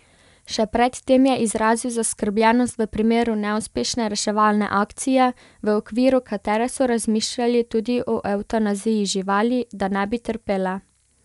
Še pred tem je izrazil zaskrbljenost v primeru neuspešne reševalne akcije, v okviru katere so razmišljali tudi o evtanaziji živali, da ne bi trpele.